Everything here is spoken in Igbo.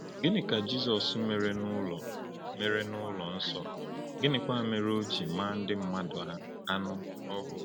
Gịnị ka Jizọs mere n’ụlọ mere n’ụlọ nsọ, gịnịkwa mere o ji maa ndị mmadụ anụ ọhụụ?